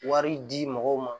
Wari di mɔgɔw ma